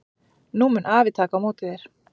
Nú mun afi taka á móti þér.